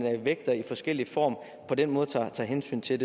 vægter i forskellig form og på den måde tager hensyn til